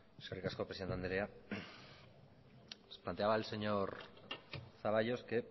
eskerrik asko presidente andrea les planteaba el señor zaballos que